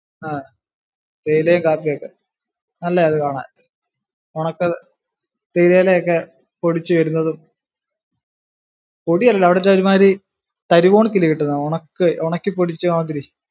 ആഹ് തേയിലയും കാപ്പിയും ഒക്കെ. നല്ലയാ അത് കാണാൻ. ഉണക്ക തേയില ഇല ഒക്കെ പൊടിച്ചു വരുന്നതും. പൊടിയല്ല അവിടുത്തെ ഒരു മാതിരി തരി പോലൊക്കെ അല്ലിയോ കിട്ടുന്നത് ഉണക്കി പൊടിച്ച മാതിരി.